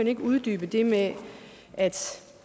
ikke uddybe det med at